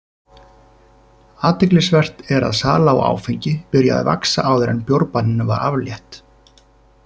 Athyglisvert er að sala á áfengi byrjaði að vaxa áður en bjórbanninu var aflétt.